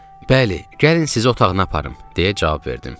"Bəli, gəlin sizi otağına aparım." deyə cavab verdim.